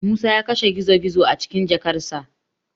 Musa ya kashe gizo-gizo a cikin jakarsa.